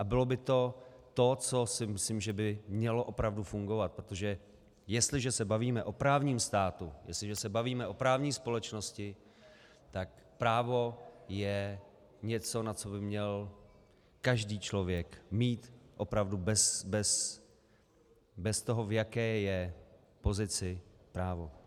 A bylo by to to, co si myslím, že by mělo opravdu fungovat, protože jestliže se bavíme o právním státu, jestliže se bavíme o právní společnosti, tak právo je něco, na co by měl každý člověk mít opravdu bez toho, v jaké je pozici, právo.